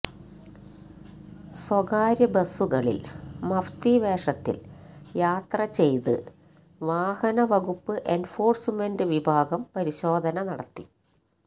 സ്വകാര്യബസുകളില് മഫ്തി വേഷത്തില് യാത്രചെയ്ത് വാഹനവകുപ്പ് എന്ഫോഴ്സ്മെന്റ് വിഭാഗം പരിശോധന നടത്തി